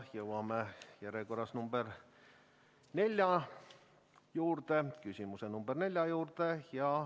Jõuame järjekorras küsimuse number 4 juurde.